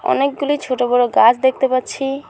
অনেকগুলি ছোট বড় গাছ দেখতে পাচ্ছি।